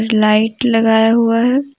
Light लगाया हुआ है।